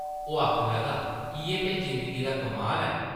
ओह् आखन लगा, इʼयै ते जिंदगी दा कमाल ऐ ।